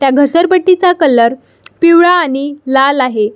त्या घसरपट्टिचा कलर पिवळा आणि लाल आहे.